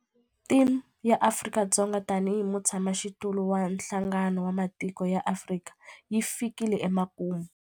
Theme ya Afrika-Dzonga tanihi mutshamaxitulu wa Nhlangano wa Matiko ya Afrika yi fikile emakumu.